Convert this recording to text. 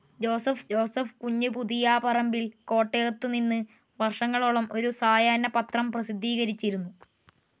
Joseph Kunju Puthiyaparambil കോട്ടയത്തുനിന്ന് വർഷങ്ങളോളം ഒരു സായാഹ്ന പത്രം പ്രസിദ്ധീകരിച്ചിരുന്നു.